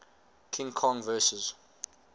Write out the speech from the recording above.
king kong vs